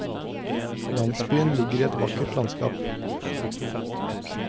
Landsbyen ligger i et vakkert landskap.